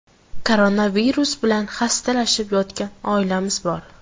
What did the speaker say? Koronavirus bilan xastalanib yotgan oilamiz bor.